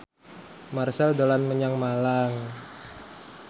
Marchell dolan menyang Malang